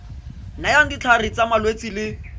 nayang ditlhare tsa malwetse le